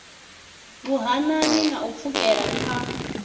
vhuhanani na u pfukhela kha